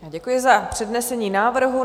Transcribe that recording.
Děkuji za přednesení návrhu.